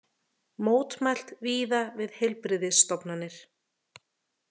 Mótmælt víða við heilbrigðisstofnanir